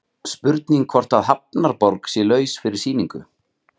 Spurning hvort að Hafnarborg sé laus fyrir sýningu?